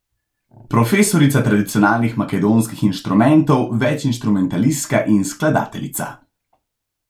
Profesorica tradicionalnih makedonskih inštrumentov, večinštrumentalistka in skladateljica.